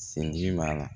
Sen ji b'a la